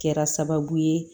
Kɛra sababu ye